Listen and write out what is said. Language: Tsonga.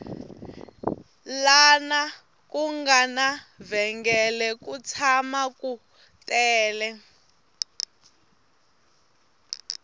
lana ku nga na vhengele ku tshama ku tele